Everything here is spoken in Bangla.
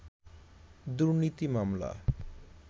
দুর্নীতি মামলা